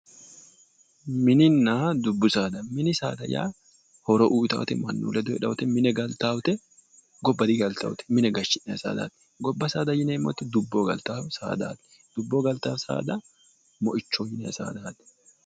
Minninna dubbu saada minni saada yaa mine galitaate horo uyitaatte gobba digalitaatte gobba saadaati yineemmoti mine digalitaatte dubboho galitaatte